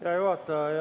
Hea juhataja!